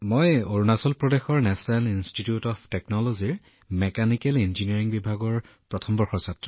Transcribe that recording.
মই অৰুণাচল প্ৰদেশৰ national institute of টেকনলজীত মেকানিকেল ইঞ্জিনিয়াৰিঙৰ প্ৰথম বৰ্ষত অধ্যয়ন কৰি আছোঁ